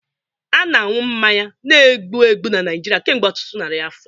A na-aṅụ mmanya na-egbu egbu na Naijiria kemgbe ọtụtụ narị afọ